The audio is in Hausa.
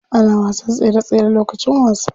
Ana wasan tsere tsere lokacin wasa.